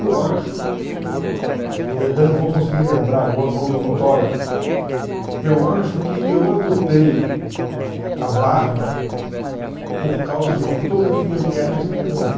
Eu acho, eu não vou conseguir lembrar agora o nome do fotógrafo, eu acho que eu adotei a barba por causa de uma fotografia de Ernest Hemingway.